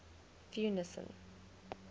theunissen